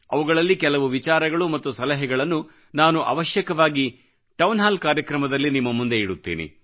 ಅವುಗಳಲ್ಲಿ ಕೆಲವು ವಿಚಾರಗಳು ಮತ್ತು ಸಲಹೆಗಳನ್ನು ನಾನು ಅವಶ್ಯಕವಾಗಿ ಟೌನ್ ಹಾಲ್ ಕಾರ್ಯಕ್ರಮದಲ್ಲಿ ನಿಮ್ಮ ಮುಂದೆ ಇಡುತ್ತೇನೆ